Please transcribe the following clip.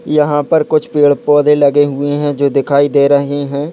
यहाँ पर कुछ पेड़-पौधे लगे हुए है जो दिखाई दे रहे है।